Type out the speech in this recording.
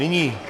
Nyní...